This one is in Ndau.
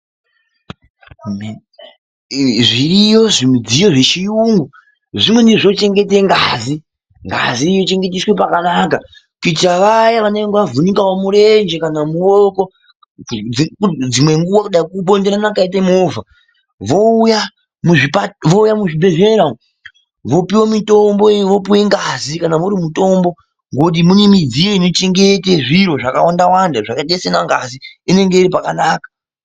Zviriyo zvimidziyo zvechiyungu zvimweni zvinochengete ngazi, Ngazi inochengeteswe pakanaka kuitira vaya vanenge vavhunikawo mirenje kana mawoko. Dzimwe nguva kubonderana kwaite movha, vouya muzvibhedhlera umu vopiwe mitombo, vopiwe ngazi kana iri mitombo. Ngekuti irimowo midziyo inochengete zvakawandawanda zvakaite sana ngazi, inenge iri pakanaka.